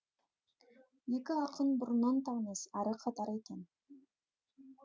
екі ақын бұрыннан таныс әрі қатар екен